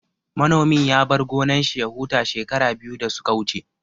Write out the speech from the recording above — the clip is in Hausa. Manomin ya bar gonan shi ya huta shekara biyu da suka wuce